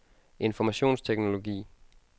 informationsteknologi